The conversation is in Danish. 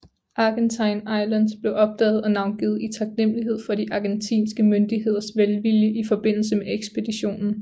Argentine Islands blev opdaget og navngivet i taknemmelighed for de argentinske myndigheders velvilje i forbindelse med ekspeditionen